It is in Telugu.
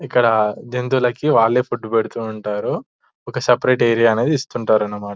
ఇక్కడ జంతువులకి వాళ్లే ఫుడ్డు పెడుతూ ఉంటారు ఒక సెపరేట్ ఏరియా అనేది ఇస్తుంటారు అన్నమాట --